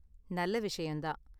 நல்ல விஷயம் தான்.